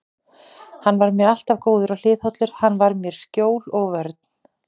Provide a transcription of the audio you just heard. Hann var mér alltaf góður og hliðhollur, hann var mér skjól og vörn.